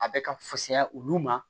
A bɛ ka fusaya olu ma